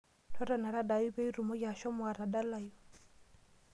Totona tadaayu pee itumoki ashomo atadalayu.